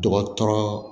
Dɔgɔtɔrɔ